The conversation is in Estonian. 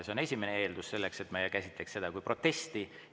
See on esimene eeldus selleks, et meie käsitleks seda kui protesti.